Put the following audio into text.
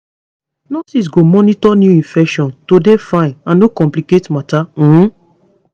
nurses go monitor new infection to dey fine and no complicate matter um